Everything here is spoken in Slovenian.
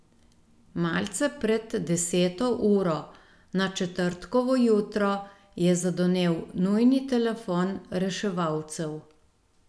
Malce pred deseto uro na četrtkovo jutro je zadonel nujni telefon reševalcev.